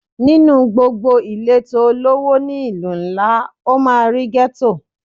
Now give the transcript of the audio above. Nínú gbogbo ìletò olówó ni ìlú ńlá, o máa rí Gétò.